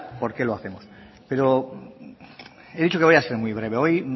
por qué lo hacemos pero he dicho que voy a ser muy breve hoy